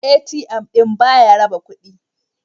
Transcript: ATM ɗin ba ya raba kudi.